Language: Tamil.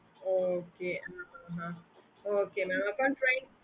okay mam